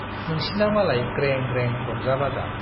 नोंसिना मालाय ग्रें, ग्रें रंजा-बाजा।